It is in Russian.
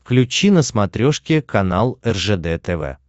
включи на смотрешке канал ржд тв